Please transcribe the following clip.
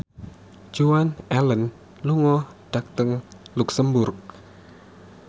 Joan Allen lunga dhateng luxemburg